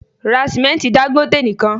Ra sìmẹ́ntí Dangote nìkan!